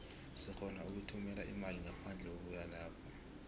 sirhona ukuthumela imali ngaphandle kokuya lapho